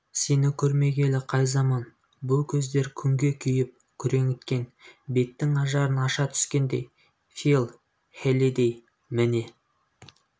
сені көрмегелі қай заман бұл көздер күнге күйіп күреңіткен беттің ажарын аша түскендей фил хеллидэй міне